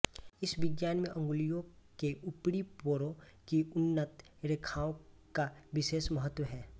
इस विज्ञान में अंगुलियों के ऊपरी पोरों की उन्नत रेखाओं का विशेष महत्व है